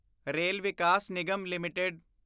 rail Vikas Nigam LTD